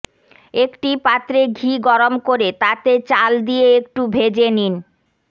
একটি পাত্রে ঘি গরম করে তাতে চাল দিয়ে একটু ভেজে নিন